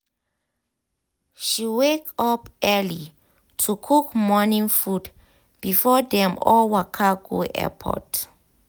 she wake up early to cook morning food before dem all waka go airport.